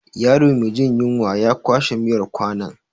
Yaro me jin yunwa ya kwashe miyar kwanon.